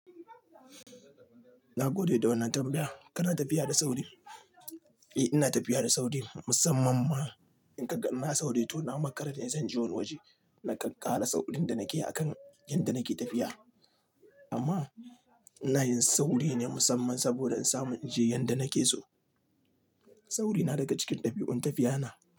Na gode da wannan tambayan. Kana tafiya da sauri? Eh ina tafiya da sauri, musamman ma in kaga ina sauri to na makara ne zan je wani waje. Nakan ƙara saurin da nake akan yanda nake tafiya. Amma ina yin sauri ne musamman saboda in samu in je yanda nake so. Saurina daga cikin ɗabi'un tafiyana.